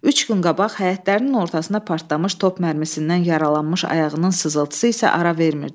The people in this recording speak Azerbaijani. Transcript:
Üç gün qabaq həyətlərinin ortasına partlamış top mərmisindən yaralanmış ayağının sızıltısı isə ara vermirdi.